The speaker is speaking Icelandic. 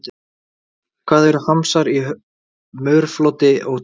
Hvað eru hamsar í mörfloti og tólg?